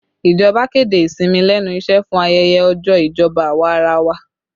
Ìjọba kéde ìsinmi lẹ́nu iṣẹ́ fún ayẹyẹ ọjọ́ ìjọba awarawa